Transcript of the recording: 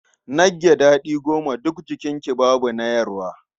Nagge daɗi goma, duk jikinki babu na yarwa.